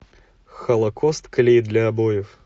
холокост клей для обоев